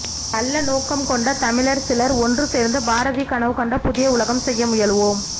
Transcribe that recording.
நல்ல நோக்கம்கொண்டதமிழர் சிலர் ஒன்றுசேர்ந்து பாரதி கனவுகண்ட புதிய உலகம் செய்ய முயலுவோம்